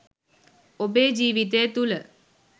ඔබේ ජීවිතය තුළ